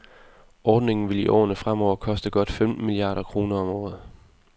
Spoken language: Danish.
Ordningen vil i årene fremover koste godt femten milliarder kroner om året.